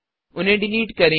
उन्हें डिलिट करें